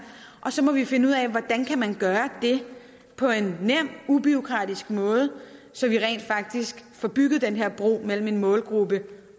og så må vi finde ud af hvordan man kan gøre det på en nem ubureaukratisk måde så vi rent faktisk får bygget den her bro mellem en målgruppe